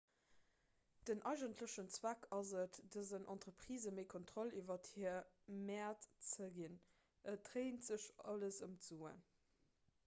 den eigentlechen zweck ass et dësen entreprisë méi kontroll iwwer hir mäert ze ginn et dréint sech alles ëm d'suen